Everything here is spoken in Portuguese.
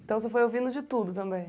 Então você foi ouvindo de tudo também?